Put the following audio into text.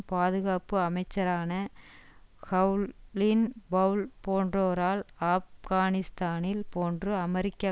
பாதுகாப்பு அமைச்சரான Colin Powell போன்றோரால் ஆப்கானிஸ்தானில் போன்று அமெரிக்க